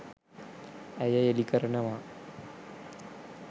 ඇය එළිකරනවා.